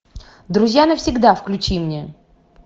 друзья навсегда включи мне